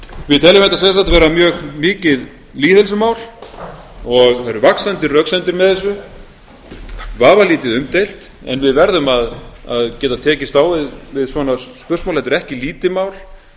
við teljum þetta sem sagt vera mjög mikið lýðheilsumál það eru vaxandi röksemdir með þessu vafalítið umdeilt en við verðum að geta tekist á við svona sprusmál þetta er ekki lítið mál